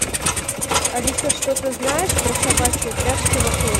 алиса что ты знаешь про собачьи упряжки в отеле